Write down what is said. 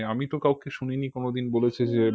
মানে আমি তো কাউকে শুনিনি কোনোদিন বলেছে যে